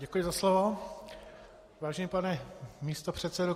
Děkuji za slovo, vážený pane místopředsedo.